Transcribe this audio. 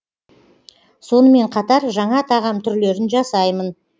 сонымен қатар жаңа тағам түрлерін жасаймын